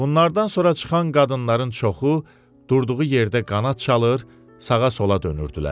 Bunlardan sonra çıxan qadınların çoxu durduğu yerdə qanad çalır, sağa-sola dönürdülər.